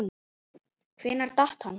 Hvenær datt hann?